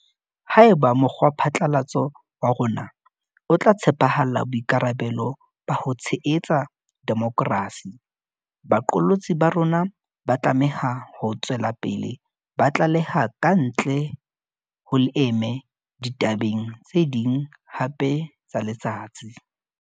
Haeba mokgwaphatlalatso wa rona o tla tshepahalla boikarabelo ba ho tshehetsa demokrasi, baqolotsi ba rona ba tlameha ho tswela pele ba tlaleha kantle ho leeme ditabeng tse ding hape tsa letsatsi.